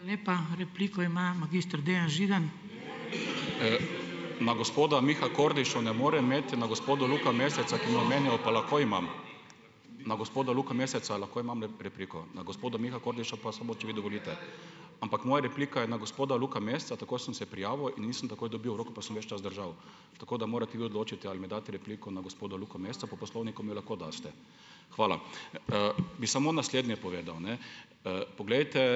Na gospoda Miha Kordiša ne morem imeti, na gospoda Luka Meseca, ki me je omenil, pa lahko imam. Na gospoda Luka Meseca lahko imam repliko. Na gospoda Miha Kordiša pa samo, če vi dovolite. Ampak moja replika je na gospoda Luka Meseca, tako sem se prijavil in nisem takoj dobil, roko pa sem ves čas držal. Tako da morate vi odločiti, ali mi date repliko na gospoda Luka Meseca. Po Poslovniku mi lahko date. Hvala. Bi samo naslednje povedal, ne. Poglejte,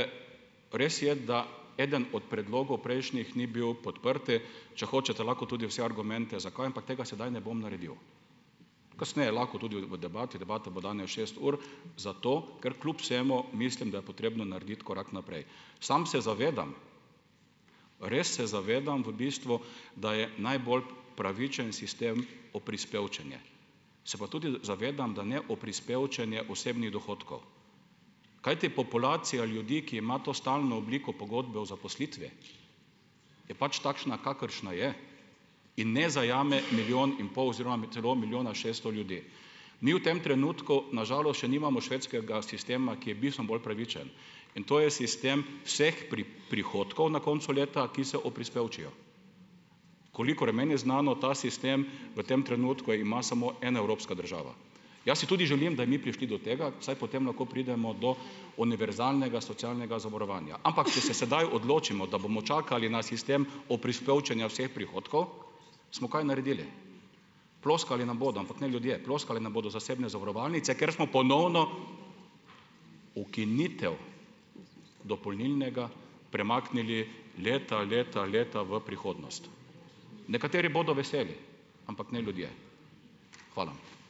res je, da eden od predlogov prejšnjih ni bil podprt, če hočete, lahko tudi vse argumente, zakaj, ampak tega sedaj ne bom naredil. Kasneje lahko tudi v debati. Debata bo danes šest ur. Zato ker kljub vsemu mislim, da je potrebno narediti korak naprej. Sam se zavedam, res se zavedam v bistvu, da je najbolj pravičen sistem oprispevčenje. Se pa tudi zavedam, da ne oprispevčenje osebnih dohodkov. Kajti populacija ljudi, ki ima to stalno obliko pogodbe o zaposlitvi je pač takšna, kakršna je, in ne zajame milijon in pol oziroma celo milijona šeststo ljudi. Mi v tem trenutku, na žalost, še nimamo švedskega sistema, ki je bistven bolj pravičen. In to je sistem vseh prihodkov na koncu leta, ki se oprispevčijo. Kolikor je meni znano, ta sistem v tem trenutku ima samo ena evropska država. Jaz si tudi želim, da bi mi prišli do tega, saj potem lahko pridemo do univerzalnega socialnega zavarovanja. Ampak če se sedaj odločimo, da bomo čakali na sistem oprispevčenja vseh prihodkov, smo kaj naredili? Ploskali nam bodo. Ampak ne ljudje, ploskale nam bodo zasebne zavarovalnice, ker smo ponovno ukinitev dopolnilnega premaknili leta, leta, leta v prihodnost. Nekateri bodo veseli, ampak ne ljudje. Hvala.